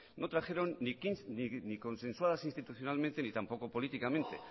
no trajeron ni consensuadas institucionalmente ni tampoco políticamente